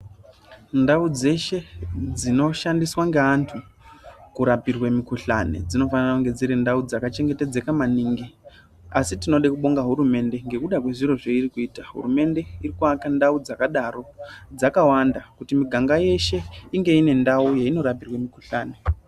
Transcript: Ndau dzeshe dzino shandiswa ngeantu kurapirwe mikhuhlani dzinofanira kunge dziri ndau dzaka chengetedzeka maningi, asi tinoda kubonga hurumende ngekuda kwezviro zveirikuita. Hurumende irikuaka ndau ndakadaro dzakawanda kuti miganga yeshe inge ine ndau yeinorapirwa mikhuhlani.